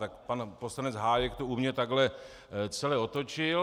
Tak pan poslanec Hájek to u mě takhle celé otočil.